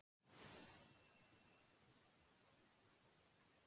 Þú getur varla gert þér í hugarlund.